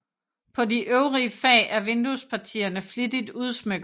På de øvrige fag er vinduespartierne flittigt udsmykkede